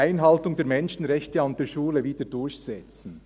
«Einhaltung der Menschenrechte an der Schule wieder durchsetzen».